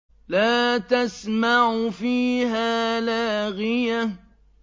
لَّا تَسْمَعُ فِيهَا لَاغِيَةً